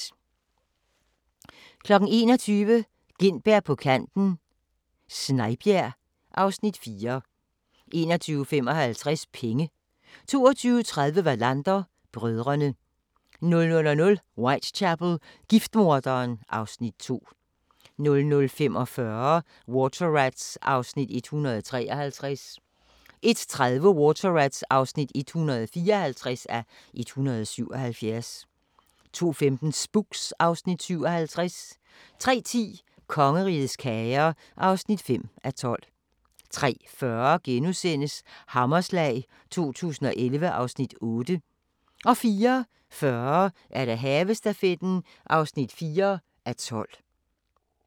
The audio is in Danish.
21:00: Gintberg på kanten - Snejbjerg (Afs. 4) 21:55: Penge 22:30: Wallander: Brødrene 00:00: Whitechapel: Giftmorderen (Afs. 2) 00:45: Water Rats (153:177) 01:30: Water Rats (154:177) 02:15: Spooks (Afs. 57) 03:10: Kongerigets kager (5:12) 03:40: Hammerslag 2011 (Afs. 8)* 04:40: Havestafetten (4:12)